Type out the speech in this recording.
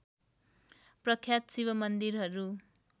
प्रख्यात शिव मन्दिरहरू